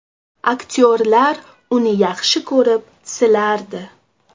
Aktyorlar uni yaxshi ko‘rib, silardi.